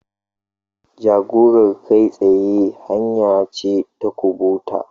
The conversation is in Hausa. Jagorar kai tsaye hanya ce ta kubuta.